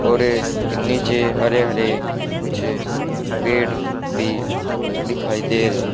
और ये नीचे हरे हरे कुछ पेड़ भी दिखाई दे रहे हैं।